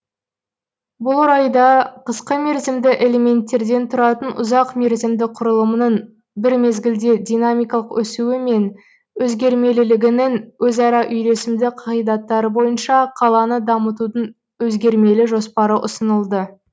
бұл орайда қысқа мерзімді элементтерден тұратын ұзақ мерзімді құрылымның бір мезгілде динамикалық өсуі мен өзгермелілігінің өзара үйлесімді қағидаттары бойынша қаланы дамытудың өзгермелі жоспары ұсынылды